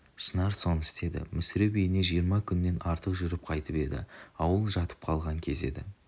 шынар соны істеді мүсіреп үйіне жиырма күннен артық жүріп қайтып еді ауыл жатып қалған кез еді